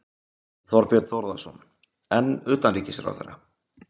Þorbjörn Þórðarson: En utanríkisráðherra?